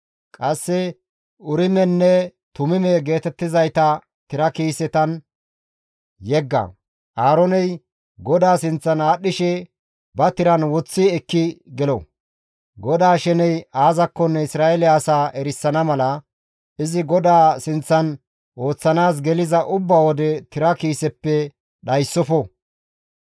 Qasse Urimenne Tumime geetettizayta tira kiisetan yegga. Aarooney GODAA sinth aadhdhishe ba tiran woththi ekki gelo. GODAA sheney aazakkonne Isra7eele asaa erisana mala, izi GODAA sinththan ooththanaas geliza ubba wode tira kiiseppe dhayssofo.